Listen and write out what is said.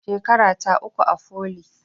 Shekarata uku a foli